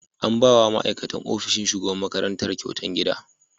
An ba wa ma'aikatan ofishin shugaban makaranta kyautar gida.